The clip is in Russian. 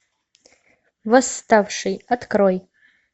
восставший открой